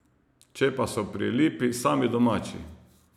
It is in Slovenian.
Če pa so pri Lipi sami domači ...